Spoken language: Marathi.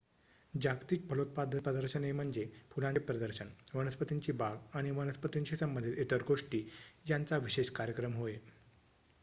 जागतिक फलोत्पादन प्रदर्शने म्हणजे फुलांचे प्रदर्शन वनस्पतींची बाग आणि वनस्पतींशी संबंधित इतर गोष्टी यांचा विशेष कार्यक्रम होय